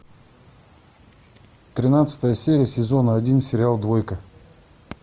тринадцатая серия сезона один сериал двойка